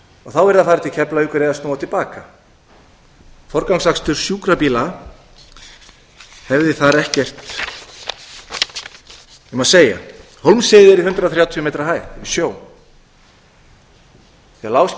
þá yrði að fara til keflavíkur eða snúa til baka forgangsakstur sjúkrabíla hefði þar ekkert um að segja hólmsheiði er í hundrað og þrjátíu metra hæð yfir sjó þegar lágskýjað er